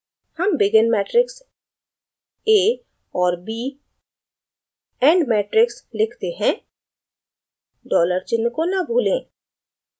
हम begin matrix a और b end matrix लिखते हैं dollar चिन्ह को न भूलें